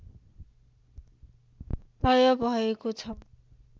तय भएको छ